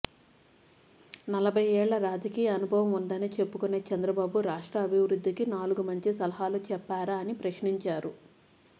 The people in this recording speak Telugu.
నలభై ఏళ్ల రాజకీయ అనుభవం ఉందని చెప్పుకొనే చంద్రబాబు రాష్ట్ర అభివృద్ధికి నాలుగు మంచి సలహాలు చెప్పారా అని ప్రశ్నించారు